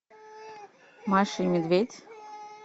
маша и медведь